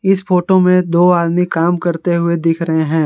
इस फोटो में दो आदमी काम करते हुए दिख रहे हैं।